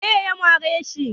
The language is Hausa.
Waye ya mare shi?